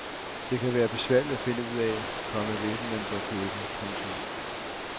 Det kan være besværligt at finde ud af, komma hvilken man bør købe. punktum